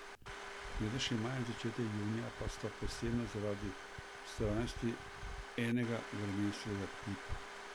Letošnji maj in začetek junija pa sta posebna zaradi vztrajnosti enega vremenskega tipa.